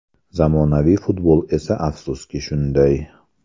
Zamonaviy futbol esa afsuski shunday.